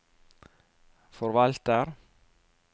forvalter